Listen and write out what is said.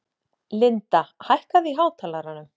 Linda, hækkaðu í hátalaranum.